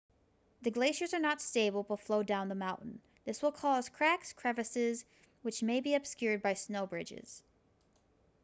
the glaciers are not stable but flow down the mountain this will cause cracks crevasses which may be obscured by snow bridges